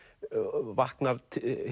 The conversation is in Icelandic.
vaknar